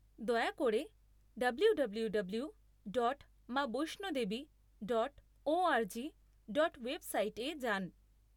দয়া করে W W W dot Maa Vaishno Devi dot O R G dot ওয়েবসাইটে যান।